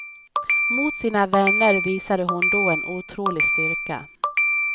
Mot sina vänner visade hon då en otrolig styrka.